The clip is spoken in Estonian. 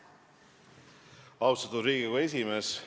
Austatud Riigikogu esimees!